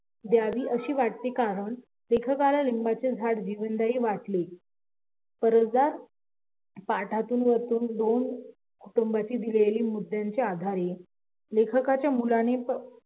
लिहावे असे वाटते कारण लेखकाला लिंबाचे झाड जीवनदायी वाटले कारण कुटुंबातली दिलेल्या मुद्द्याच्या आधारे मुलाने